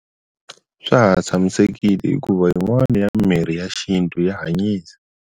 Swa ha tshamisekile hikuva yin'wani ya mimirhi ya xintu ya hanyisa.